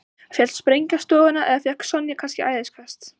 Féll sprengja á stofuna eða fékk Sonja kannski æðiskast?